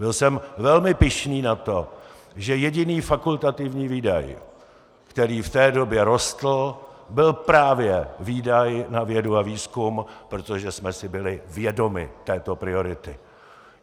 Byl jsem velmi pyšný na to, že jediný fakultativní výdaj, který v té době rostl, byl právě výdaj na vědu a výzkum, protože jsme si byli vědomi této priority.